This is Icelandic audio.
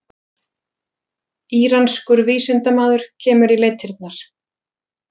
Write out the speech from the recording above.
Íranskur vísindamaður kemur í leitirnar